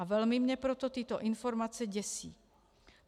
A velmi mě proto tyto informace děsí.